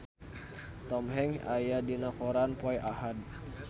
Tom Hanks aya dina koran poe Ahad